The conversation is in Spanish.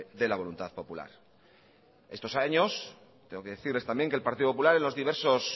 de la voluntad popular estos años tengo que decirles también que el partido popular en los diversos